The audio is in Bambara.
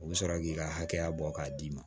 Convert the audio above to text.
U bɛ sɔrɔ k'i ka hakɛya bɔ k'a d'i ma